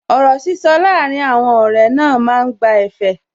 Ọ̀rọ̀ sísọ láàrín àwọn ọ̀rẹ́ máa ń gba ẹ̀fẹ̀